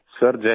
sir जय हिन्द